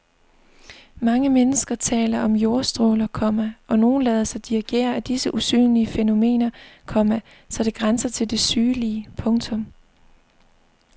Mange mennesker taler om jordstråler, komma og nogle lader sig dirigere af disse usynlige fænomener, komma så det grænser til det sygelige. punktum